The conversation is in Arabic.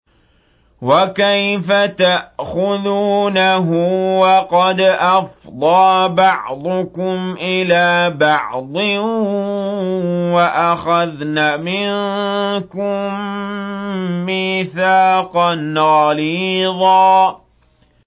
وَكَيْفَ تَأْخُذُونَهُ وَقَدْ أَفْضَىٰ بَعْضُكُمْ إِلَىٰ بَعْضٍ وَأَخَذْنَ مِنكُم مِّيثَاقًا غَلِيظًا